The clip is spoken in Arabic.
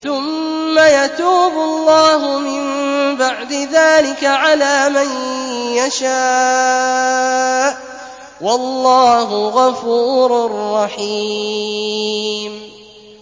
ثُمَّ يَتُوبُ اللَّهُ مِن بَعْدِ ذَٰلِكَ عَلَىٰ مَن يَشَاءُ ۗ وَاللَّهُ غَفُورٌ رَّحِيمٌ